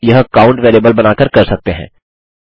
आप यह count variable बनाकर कर सकते हैं